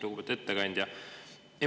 Lugupeetud ettekandja!